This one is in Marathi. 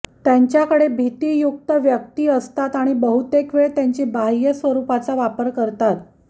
त्यांच्याकडे भितीयुक्त व्यक्ति असतात आणि बहुतेक वेळ त्यांची बाह्य स्वरुपाचा वापर करतात